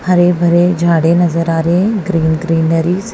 हरे भरे झाड़े नजर आ रहे हैं ग्रीन ग्रीनरीज़ --